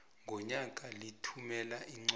ngonyaka lithumela iincwadi